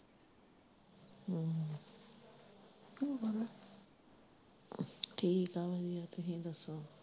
ਠੀਕ ਆ ਮਿਨੂੰ ਤੁਹੀਂ ਦੱਸਿਆ।